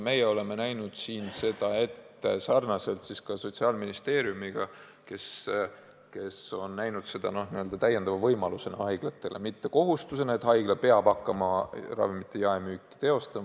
Meie oleme selle ette näinud sarnaselt Sotsiaalministeeriumiga, kes peab seda täiendavaks võimaluseks haiglatele – mitte kohustuseks, et haigla peab hakkama ravimite jaemüüki teostama.